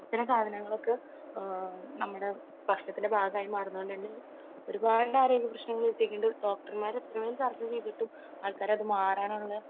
അങ്ങനത്തെ സാധനങ്ങളൊക്കെ നമ്മുടെ ഭക്ഷണത്തിന്റെ ഭാഗമായി മാറുന്നത് കൊണ്ട് തന്നെ ഒരുപാട് ആരോഗ്യപ്രശ്നങ്ങൾ വരുന്നുണ്ട്. ഡോക്ടർമാർ ഒരുപാട് ഒക്കെ ചർച്ച ചെയ്തിട്ടും ആൾക്കാർ അത് മാറാനുള്ള